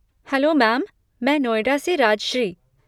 Hello ma'am, मैं नोएडा से राजश्री।